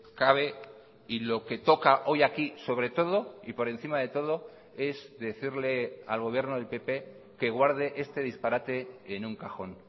cabe y lo que toca hoy aquí sobre todo y por encima de todo es decirle al gobierno del pp que guarde este disparate en un cajón